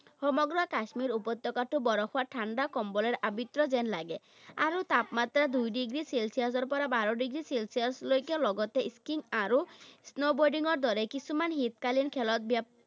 সমগ্ৰ কাশ্মীৰ উপত্যকাটো বৰফৰ ঠাণ্ডা কম্বলৰ আবৃত্ত যেন লাগে। আৰু তাপমাত্ৰা দুই ডিগ্ৰী চেলচিয়াছৰ পৰা বাৰ ডিগ্ৰী চেলচিয়াছ লৈকে। লগতে skiing আৰু snow boarding ৰ দৰে কিছুমান শীতকালীন খেলত